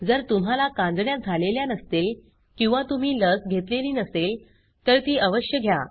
जर तुम्हाला कांजिण्या झालेल्या नसतील किंवा तुम्ही लस घेतलेली नसेल तर ती अवश्य घ्या